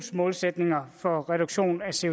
så